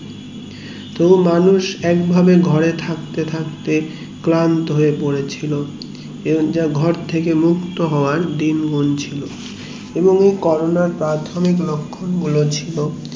পুরো মানুষ এক ভাবে ঘরে থাকতে থাকতে ক্লান্ত হয়ে পড়েছিল ঘর থেকে মুক্ত হওয়ার দিন গুনছিল এবং কোরোনার প্রাথমিক লক্ষ গুলো ছিল